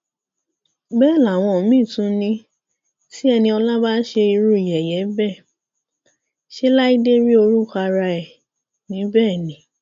bẹẹ làwọn míín tún ni tí eniola bá ṣe irú yẹyẹ bẹẹ ṣe láìdé rí orúkọ ara ẹ níbẹ ni